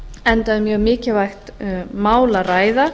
enda um mjög mikilvægt mál að ræða